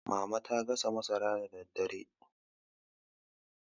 mama ta gasa masara da daddare